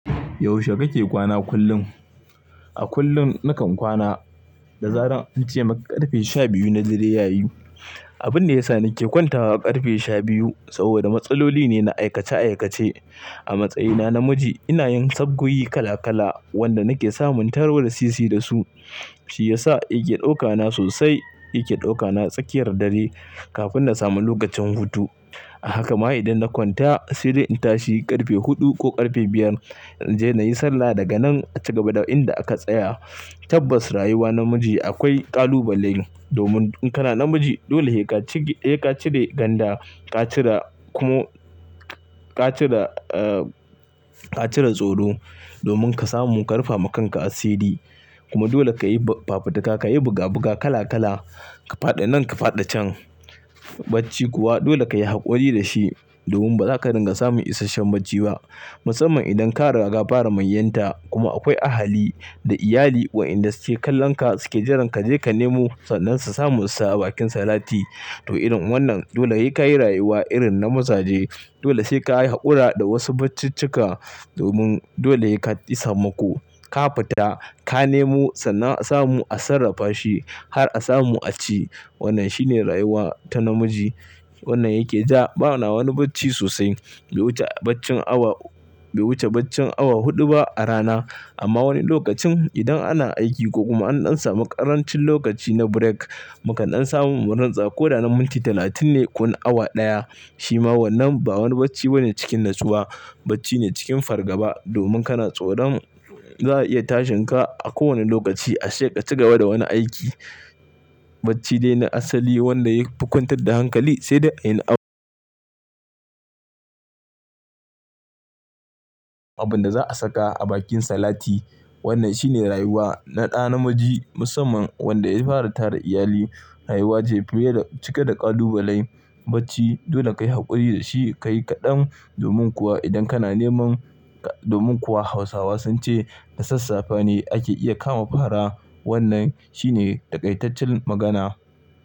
Yaushe kake kwana kullum? A kullum nakan kwana da zaran an ce maka ƙarfe sha biyu na dare yayi. Abin da yasa nake kwantawa ƙarfe sha biyu saboda matsaloli ne na aikace aikace. A matsayina na namiji ina yin sabgogi kala kala wanda nake samun taro sisi dasu, shi yasa yake ɗauka na sosai. Yake ɗauka na tsakiyar dare kafin na samu lokacin hutu. A haka ma idan na kwanta, sai dai in tashi ƙarfe huɗu ko ƙarfe biyar in je na yi sallah daga nan a ci gaba da inda aka tsaya. Tabbas rayuwa namiji akwai ƙalubale domin in kana namiji dole ne sai cire ganda, ka cire kuma ka cire, ka cire tsoro domin ka samu munƙarfa ma kanka asiri. Kuma dole ka yi fafutuka, ka yi buga buga kala kala, ka faɗe nan ka faɗe can. Bacci kuwa dole ka yi haƙuri da shi domin ba za ka dinga samun isasshen bacci ba musamman idan ka riga ka fara manyanta. Kuma akwai ahali da iyali wa inda suke kallon ka suke jiran ka je ka nemo sannan su samu su sa a bakin salati. To irin wannan dole sai ka yi rayuwa irin na mazaje. Dole sai ka yi haƙura da wasu baccucika domin dole yayi ka isa mako. Ka fita ka nemo sannan a samu a sarrafa shi har a samu a ci. Wannan shine rayuwa ta namiji. Wannan yake ja, ba na wani bacci sosai. Bai wuce baccin awa, bai wuce baccin awa huɗu ba a rana. Amma wani lokacin idan ana aiki ko kuma an ɗan samu ƙarancin lokaci na break maka ɗan samu wuratsa ko da na minti talatin ne ko na awa ɗaya shi ma wannan ba wani bacci bane cikin natsuwa. Bacci ne cikin fargaba domin kana tsoron za a iya tashin ka a kowane lokaci a sheƙa ci gaba da wani aiki. Bacci dai na asali wanda ya fi kwantar da hankali sai dai inda abun abun da za a saka a bakin salati. Wannan shine rayuwa na ɗa namiji musamman wanda ya fara tara iyali. Rayuwa ce fili cike da ƙalubalai. Bacci dole ka yi haƙuri da shi ka yi kaɗan domin kuwa idan kana neman, domin kuwa Hausawa sun ce, da sassafe ne ake iya kama fara. Wannan shine ta ƙaitattun magana.